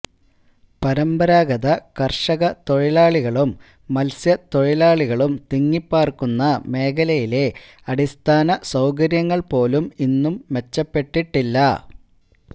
പരമ്പരാഗത കര്ഷക തൊഴിലാളികളും മത്സ്യത്തൊഴിലാളികളും തിങ്ങിപ്പാര്ക്കുന്ന മേഖലയിലെ അടിസ്ഥാന സൌകര്യങ്ങള്പോലും ഇന്നും മെച്ചപ്പെട്ടിട്ടില്ല